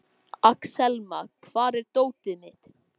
Axelma, hvar er dótið mitt?